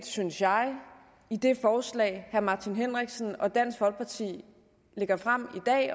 synes jeg i det forslag herre martin henriksen og dansk folkeparti har fremsat